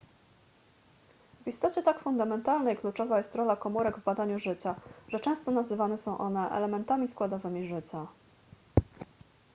w istocie tak fundamentalna i kluczowa jest rola komórek w badaniu życia że często nazywane są one elementami składowymi życia